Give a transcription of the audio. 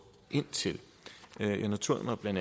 ind til jeg noterede mig bla at